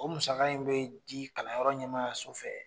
O musaka in be di kalanyɔrɔ ɲɛmaaya so fɛ